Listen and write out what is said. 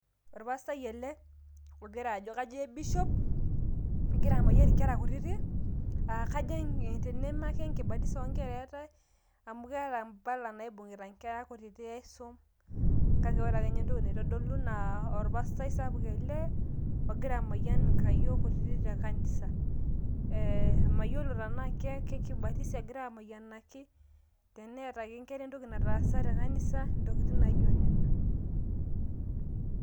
Orpastai ele loitayu bishop ogira amayian inkera kutitik te kanisa mayiolo tenaa ke nkibatisa egira amayianaki, kake intokitin ake nijo nena.